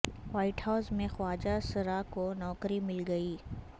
white House میں خواجہ سرا کو نوکری مل گئی